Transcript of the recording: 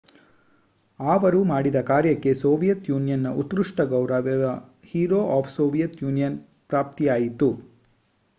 ಆವರು ಮಾಡಿದ ಕಾರ್ಯಕ್ಕೆ ಸೋವಿಯತ್ ಯೂನಿಯನ್‍‌ನ ಉತ್ಕ್ರುಷ್ಟ ಗೌರವ ಹೀರೋ ಆಫ್ ಸೋವಿಯತ್ ಯೂನಿಯನ್ ಪ್ರಾಪ್ತಿಯಾಯಿತು